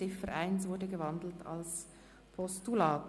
Die Ziffer 1 ist in ein Postulat umgewandelt worden.